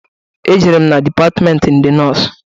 E jerem na dipatmenti ndị nọs.